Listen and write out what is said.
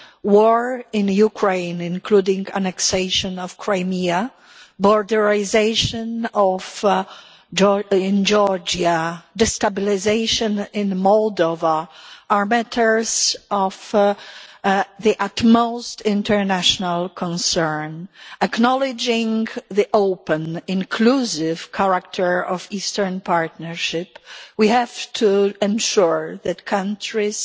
War in Ukraine, including the annexation of Crimea, borderisation in Georgia, and destabilisation in Moldova are matters of the utmost international concern. Acknowledging the open, inclusive character of the Eastern Partnership, we have to ensure that countries